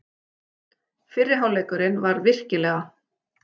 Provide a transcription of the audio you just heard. Fyrri hálfleikurinn var virkilega.